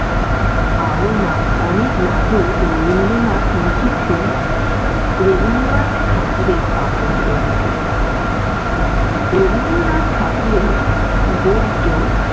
আরও না অনেক নাটক রবীন্দ্রনাথ লিখেছিলেন রবীন্দ্রনাথ ঠাকুরের কাব্যগ্রন্থে। রবীন্দ্রনাথ ঠাকুরের গদ্য।